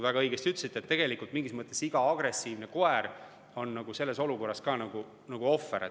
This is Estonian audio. Väga õigesti ütlesite, et tegelikult mingis mõttes iga agressiivne koer on selles olukorras ka ohver.